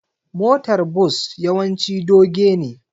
motar Bus yawanci doge ne